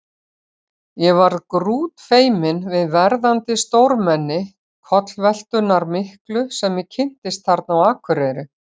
Ég var grútfeiminn við verðandi stórmenni kollveltunnar miklu sem ég kynntist þarna á Akureyri.